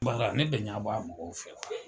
Baara ne bɛ ɲa bɔɔ a mɔgɔw fɛ.